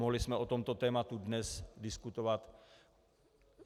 Mohli jsme o tomto tématu dnes diskutovat.